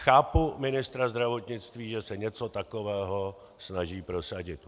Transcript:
Chápu ministra zdravotnictví, že se něco takového snaží prosadit.